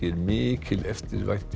mikil eftirvænting